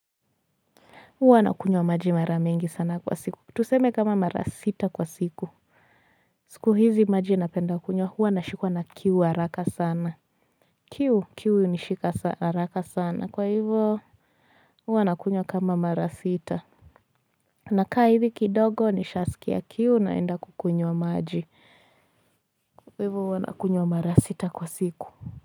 Huwa nakunywa maji mara mingi sana kwa siku tuseme kama mara sita kwa siku siku hizi maji napenda kunywa huwa nashikwa na kiu haraka sana kiu hunishika haraka sana kwa hivyo huwa nakunywa kama mara sita nakaa hivi kidogo nishaskia kiu naenda kukunywa maji huwa nakunywa mara sita kwa siku.